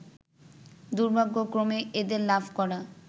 দুর্ভাগ্যক্রমে এদের লাভ করা